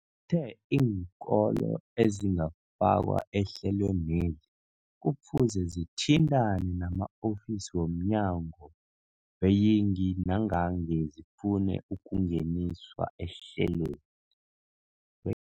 the iinkolo ezingakafakwa ehlelweneli kufuze zithintane nama-ofisi wo mnyango weeyingi nangange zifuna ukungeniswa ehlelweni.